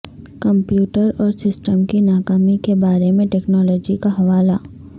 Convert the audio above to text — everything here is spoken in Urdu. کمپیوٹر اور سسٹم کی ناکامی کے بارے میں ٹیکنالوجی کا حوالہ